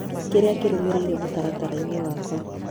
kĩrĩa kĩrũmĩrĩire mũtaratara-inĩ wakwa